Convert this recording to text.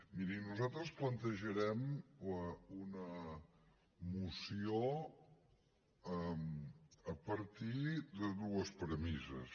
miri nosaltres plantejarem una moció a partir de dues premisses